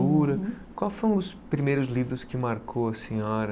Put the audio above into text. Qual foram os primeiros livros que marcou a senhora?